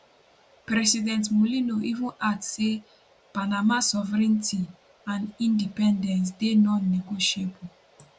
president mulino even add say panama sovereignty and independence dey nonnegotiable